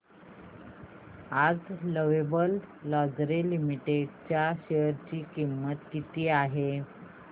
आज Lovable Lingerie Limited च्या share ची किंमत किती आहे